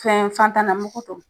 Fɛn fɛntan na mugu don